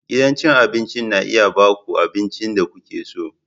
Gidan cin abinci na iya ba ku abincin da kuke so.